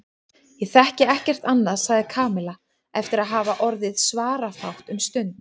Ég þekki ekkert annað sagði Kamilla eftir að hafa orðið svarafátt um stund.